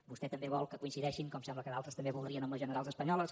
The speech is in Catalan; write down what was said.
vostè també vol que coincideixin com sembla que d’altres també voldrien amb les generals espanyoles